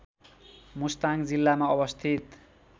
मुस्ताङ जिल्लामा अवस्थित